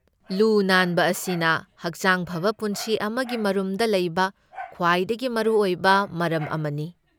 ꯂꯨ ꯅꯥꯟꯕ ꯑꯁꯤꯅ ꯍꯛꯆꯥꯡ ꯐꯕ ꯄꯨꯟꯁꯤ ꯑꯃꯒꯤ ꯃꯔꯨꯝꯗ ꯂꯩꯕ ꯈ꯭ꯋꯥꯏꯗꯒꯤ ꯃꯔꯨꯑꯣꯏꯕ ꯃꯔꯝ ꯑꯃꯅꯤ꯫